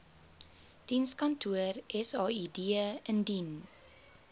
dienskantoor said indien